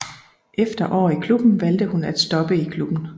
Efter år i klubben valgte hun at stoppe i klubben